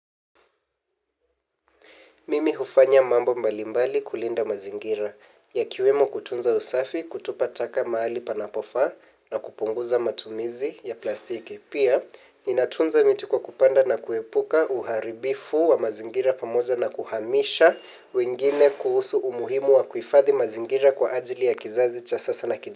Mimi hufanya mambo mbalimbali kulinda mazingira yakiwemo kutunza usafi kutupa taka mahali panapofaa na kupunguza matumizi ya plastiki. Pia, ninatunza miti kwa kupanda na kuepuka uharibifu wa mazingira pamoja na kuhamisha wengine kuhusu umuhimu wa kuifadhi mazingira kwa ajili ya kizazi cha sasa na kiju.